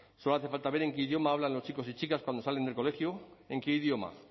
solo hace falta ver en qué idioma hablan los chicos y chicas cuando salen del colegio en qué idioma